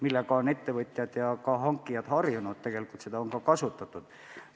Sellega on ettevõtjad ja hankijad ka harjunud ning tegelikult on seda varem kasutatud.